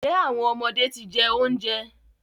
Njẹ awọn ọmọde ti jẹ ounjẹ?